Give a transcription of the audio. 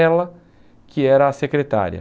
Ela, que era a secretária.